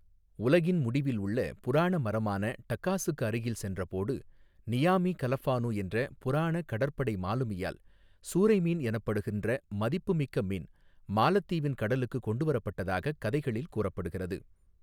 உலகின் முடிவில் உள்ள புராண மரமான டகாஸுக்கு அருகில் சென்ற போடு நியாமி கலஃபானு என்ற புராண கடற்படை மாலுமி யால் சூறை மீன் எனப்படுகின்ற மதிப்பு மிக்க மீன் மாலத்தீவின் கடலுக்கு கொண்டு வரப்பட்டதாகக் கதைகளில் கூறப்படுகிறது.